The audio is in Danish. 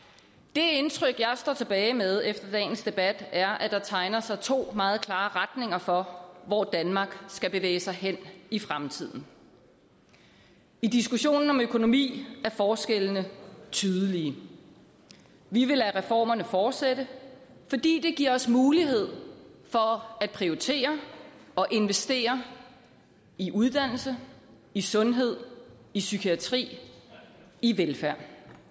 det indtryk jeg står tilbage med efter dagens debat er at der tegner sig to meget klare retninger for hvor danmark skal bevæge sig hen i fremtiden i diskussionen om økonomi er forskellene tydelige vi vil lade reformerne fortsætte fordi det giver os mulighed for at prioritere og investere i uddannelse i sundhed i psykiatri i velfærd